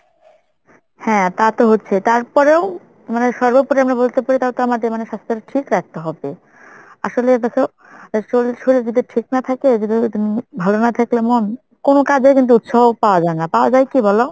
হ্যাঁ তা তো হচ্ছেই তারপরেও মানে সর্বোপরি আমরা বলতে পারি তাহলেতো আমাদের মানে স্বাস্থ্যটা ঠিক রাখতে হবে। আসলে দেখো শরীর~ শরীর যদি ঠিক না থাকে ভালো না থাকলে মন কোনো কাজেই কিন্তু উৎসাহ পাওয়া যায় না। পাওয়া যায় কি বলো?